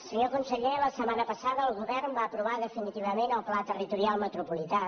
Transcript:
senyor conseller la setmana passada el govern va aprovar definitivament el pla territorial metropolità